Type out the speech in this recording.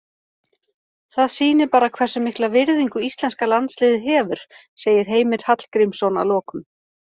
Það sýnir bara hversu mikla virðingu íslenska landsliðið hefur, segir Heimir Hallgrímsson að lokum.